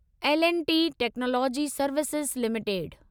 L and T technology services limited